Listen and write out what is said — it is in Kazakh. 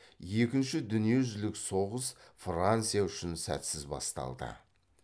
екінші дүниежүзілік соғыс франция үшін сәтсіз басталды